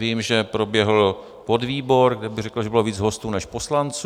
Vím, že proběhl podvýbor, kde bych řekl, že bylo víc hostů než poslanců.